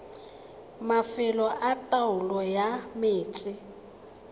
mafelo a taolo ya metsi